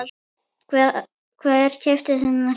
Hver keypti þennan hring?